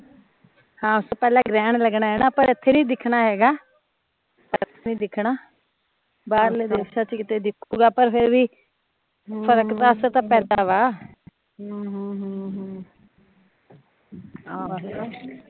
ਹਾਂ ਉਸ ਤੋਂ ਪਹਿਲਾਂ ਗ੍ਰਹਣ ਲੱਗਣਾ ਐ ਨਾ, ਪਰ ਏਥੇ ਨੀ ਦਿਖਣਾ ਹੈਗਾ, ਏਥੇ ਨੀ ਦਿਖਣਾ ਬਾਹਰਲੇ ਦੇਸ਼ਾਂ ਚ ਕਿਤੇ ਦਿੱਖੂਗਾ ਪਰ ਫਿਰ ਵੀ ਹਮ ਫਰਕ ਤਾਂ ਅਕਸਰ ਪੈਂਦਾ ਵਾ ਹਮ